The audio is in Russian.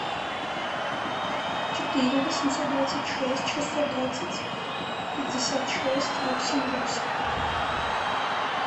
четыре восемьсот двадцать шесть шестьсот двадцать пятьдесят шесть восемь восемь